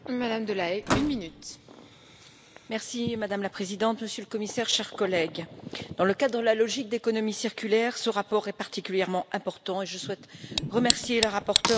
Madame la Présidente, Monsieur le Commissaire, chers collègues, dans le cadre de la logique d'économie circulaire, ce rapport est particulièrement important et je souhaite remercier la rapporteure, Mme Bonafè, ainsi que mes collègues pour le travail accompli.